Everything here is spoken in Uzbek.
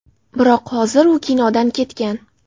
Biroq hozir u kinodan ketgan.